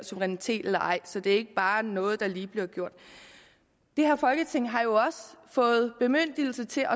suverænitet eller ej så det er ikke bare noget der lige bliver gjort det her folketing har jo også fået bemyndigelse til